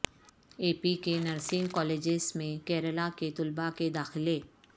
اے P کے nursing colleges میں کیرالہ کے طلبہ کے داخلے